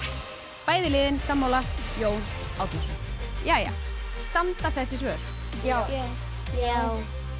bæði liðin sammála Jón Árnason standa þessi svör já já